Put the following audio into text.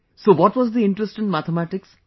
so what was the interest in mathematics